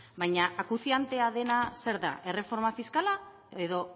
baina acuciantea dena zer da erreforma fiskala edo